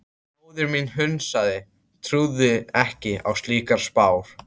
Móðir mín hnussaði, trúði ekki á slíkar spár.